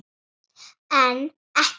En ekki í þetta sinn.